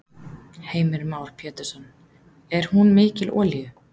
Heimir Már Pétursson: Er hún mikil olíu?